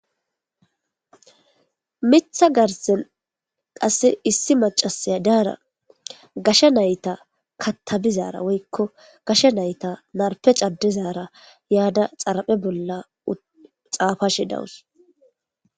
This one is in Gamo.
Miththa garsen qasse issi macasi daara gasha nayta kattabizaara woykko gasha nayta narpe caddizaara yaada xaraphe bolla xaafashe dawus.